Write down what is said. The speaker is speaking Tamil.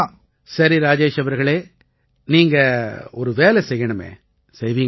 சரி ராஜேஷ் அவர்களே நீங்க ஒரு வேலை செய்யணுமே செய்வீங்களா